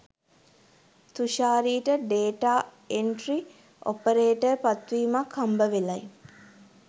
තුෂාරිට data entry operator පත්වීමක් හම්බවෙලයි